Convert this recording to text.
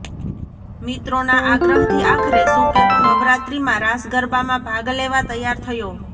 મિત્રોના આગ્રહથી આખરે સુકેતુ નવરાત્રિમાં રાસ ગરબામાં ભાગ લેવા તૈયાર થયો